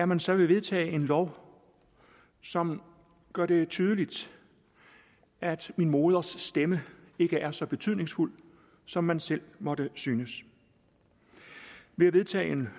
man så vil vedtage en lov som gør det tydeligt at min moders stemme ikke er så betydningsfuld som man selv måtte synes ved at vedtage en